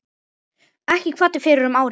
Erla kvaddi fyrir um ári.